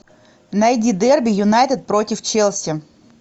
найди дерби юнайтед против челси